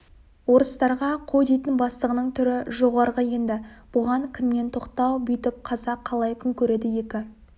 орыстарға қой дейтін бастығының түрі жоғарғы енді бұған кімнен тоқтау бүйтіп қазақ қалай күн көреді екі